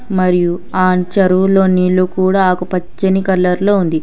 మరియు ఆ చెరువులో నీళ్లు కూడా ఆకుపచ్చని కలర్ లో ఉంది.